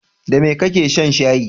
Da me kake shan shayi?